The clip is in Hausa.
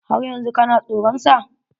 Har yanzu kana soran sa?